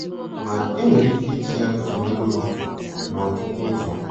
Ma e nwere ike iji ya tụnyere otu n'ọtụtụ ụzọ.